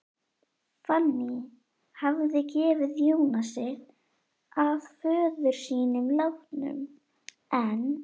Fanný hafði gefið Jónasi að föður sínum látnum, en